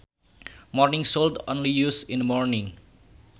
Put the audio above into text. Morning should only used in the morning